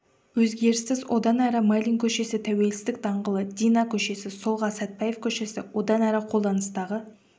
өзгеріссіз одан әрі майлин көшесі тәуелсіздік даңғылы дина көшесі солға сатпаев көшесі одан әрі қолданыстағы